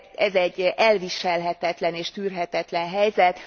Ez egy elviselhetetlen és tűrhetetlen helyzet.